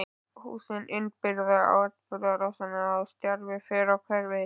Húsin innbyrða atburðarásina og stjarfi fer á hverfið.